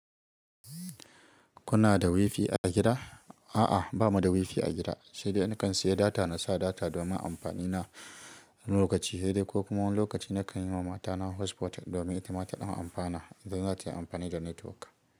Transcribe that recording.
Kuna da wifi a gida? A'a, ba mu da wifi a gida, sai dai nakan sayi data na sa data domin amfani na lokaci he dai, ko kuma wani lokaci nakan yi wa mata na hotspot domin ita ma ta ɗan amfana idan za ta yi amfani da netiwok.